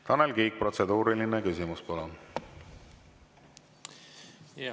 Tanel Kiik, protseduuriline küsimus, palun!